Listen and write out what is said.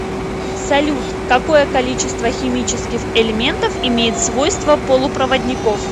салют какое количество химических элементов имеет свойства полупроводников